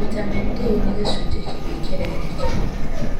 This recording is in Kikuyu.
Vitamin D nĩ gĩcunjĩ kĩngĩ kĩrerekerwo